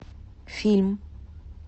фильм